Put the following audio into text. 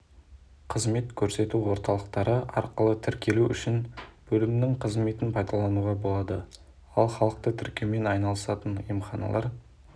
қызмет көрсету орталықтары арқылы тіркелу үшін бөлімінің қызметін пайдалануға болады ал халықты тіркеумен айналысатын емханалар